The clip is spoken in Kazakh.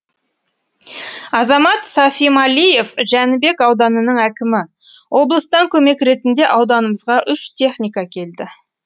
азамат сафималиев жәнібек ауданының әкімі облыстан көмек ретінде ауданымызға үш техника келді